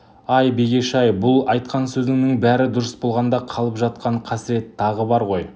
ай бегеш-ай бұл айтқан сөзіңнің бәрі дұрыс болғанда қалып жатқан қасірет тағы бар ғой